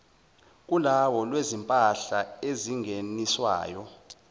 kolawulo lwezimpahla ezingeniswayo